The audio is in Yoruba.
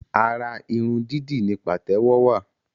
Ara irun dídì ni pàtẹ́wọ́ wa